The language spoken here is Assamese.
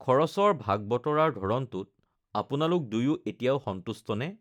খৰচৰ ভাগ-বতৰাৰ ধৰণটোত আপোনালোক দুয়ো এতিয়াও সন্তুষ্ট নে?